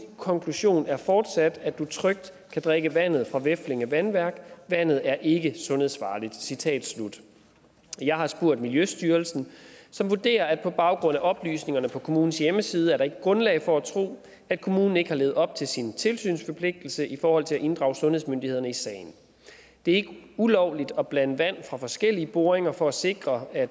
konklusion er fortsat at du trygt kan drikke vandet fra veflinge vandværk vandet er ikke er sundhedsfarligt citat slut jeg har spurgt miljøstyrelsen som vurderer at der på baggrund af oplysningerne på kommunens hjemmeside ikke er grundlag for at tro at kommunen ikke har levet op til sin tilsynsforpligtelse i forhold til at inddrage sundhedsmyndighederne i sagen det er ulovligt at blande vand fra forskellige boringer for at sikre at